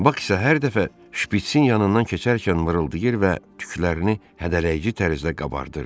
Bax isə hər dəfə şpiçin yanından keçərkən mırıldayırdı və tüklərini hədələyici tərzdə qabardırdı.